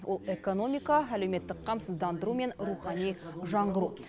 ол экономика әлеуметтік қамсыздандыру мен рухани жаңғыру